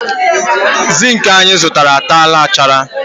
zinc anyị zụtara a tara nchara